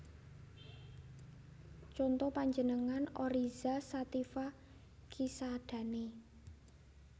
Conto panjenengan Oryza sativa Cisadane